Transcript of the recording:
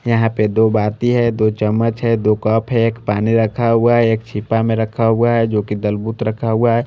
यहाँ पे दो बाती है दो चमच है दो कप है एक पानी रखा हुआ है एक छिपा में रखा हुआ है जो कि दलबूत रखा हुआ है।